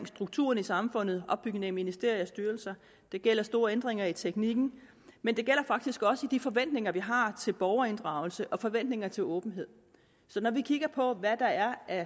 strukturerne i samfundet opbygning af ministerier og styrelser det gælder store ændringer i teknikken men det gælder faktisk også i de forventninger vi har til borgerinddragelse og forventninger til åbenhed så når vi kigger på hvad der er